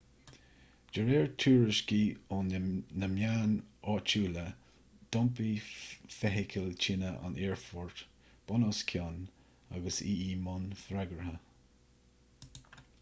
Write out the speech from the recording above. de réir tuairiscí ó na meáin áitiúla d'iompaigh feithicil tine an aerfoirt bunoscionn agus í i mbun freagartha